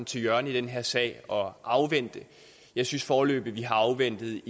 til hjørne i den her sag og afvente jeg synes foreløbig vi har afventet